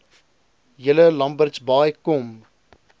julle lambertsbaai kom